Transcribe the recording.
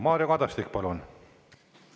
Mario Kadastik, palun!